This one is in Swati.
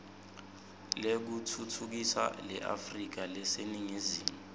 lekutfutfukisa leafrika leseningizimu